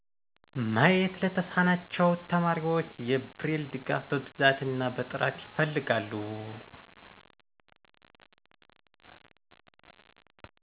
ማየት ለተሳናቸው ተማሪዎች የብሬል ድጋፍ በብዛት እና በጥራት ይፈልጋሉ።